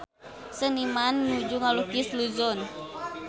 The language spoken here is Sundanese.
Seniman nuju ngalukis Luzon